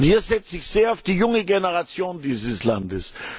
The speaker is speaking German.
Und hier setze ich sehr auf die junge Generation dieses Landes.